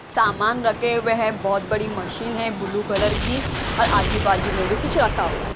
सामान रखे हुए हैं बहुत बड़ी मशीन है ब्लू कलर की और आजू बाजू में भी कुछ रखा हुआ है।